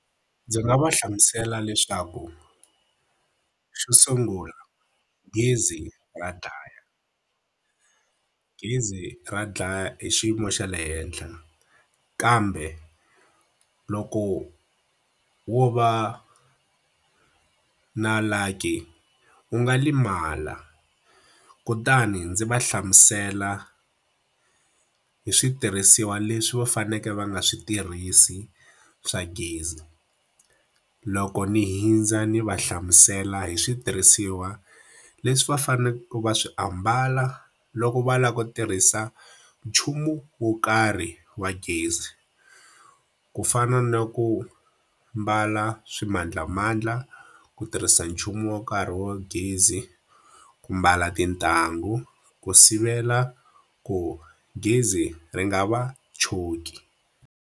Ndzi nga va hlamusela leswaku, xo sungula gezi ra dlaya. Gezi ra dlaya i xiyimo xa le henhla, kambe loko wo va na lucky u nga lemala. Kutani ndzi va hlamusela hi switirhisiwa leswi va faneleke va nga swi tirhisi swa gezi. Loko ni hundza ni va hlamusela hi switirhisiwa leswi va faneleke va swi ambala loko va lava ku tirhisa nchumu wo karhi wa gezi, Ku fana na ku mbala swimandlamandla, ku tirhisa nchumu wo karhi wo gezi ku mbala tintangu, ku sivela ku gezi ri nga va choki